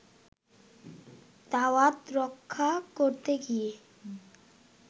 দাওয়াত রক্ষা করতে গিয়ে